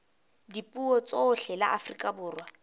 dipuo tsohle la afrika borwa